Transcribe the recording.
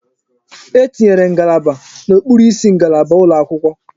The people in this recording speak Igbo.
E tinyere ngalaba n'okpuru isi ngalaba ụlọ akwụkwọ.